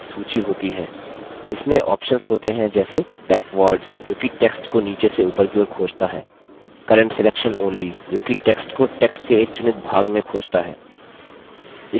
इसमें options होते हैं जैसे backwards जोकि text को नीचे से ऊपर की ओर खोजता है current selection only जोकि text को text के एक चुनित भाग में खोजता है